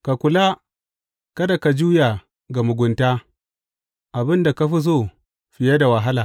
Ka kula kada ka juya ga mugunta, abin da ka fi so fiye da wahala.